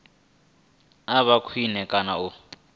a vhe khwine kana u